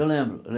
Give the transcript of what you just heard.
Eu lembro.